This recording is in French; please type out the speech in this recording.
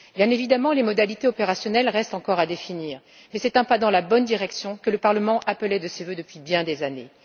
Bien évidemment, les modalités opérationnelles restent encore à définir, mais c'est un pas dans la bonne direction, que le Parlement appelait de ses vœux depuis bien des années.